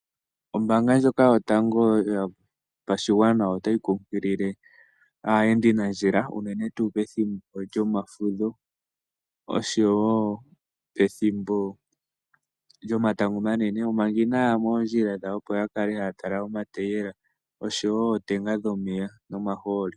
Ombaanga ndjoka yotango otayi kunkilile aayendi nandjila uunene tuu pethimbo lyomafudho oshowo pethimbo lyomatango omanene manga inaya yaya moondjila dhawo opo ya kale haya tala omatayela oshowo ootenga dhomeya nomaholi.